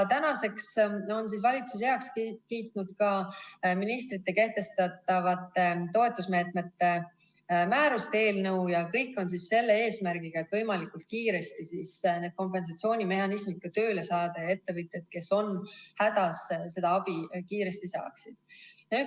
Tänaseks on valitsus heaks kiitnud ka ministrite kehtestatavad toetusmeetmete määruste eelnõud ja need kõik on selle eesmärgiga, et võimalikult kiiresti kompensatsioonimehhanismid tööle saada ning et ettevõtjad, kes on hädas, seda abi kiiresti saaksid.